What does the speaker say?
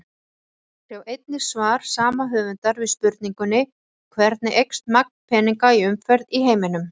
Sjá einnig svar sama höfundar við spurningunni Hvernig eykst magn peninga í umferð í heiminum?